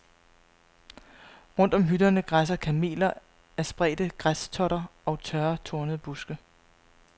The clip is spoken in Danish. Rundt om hytterne græsser kameler af spredte græstotter og tørre, tornede buske.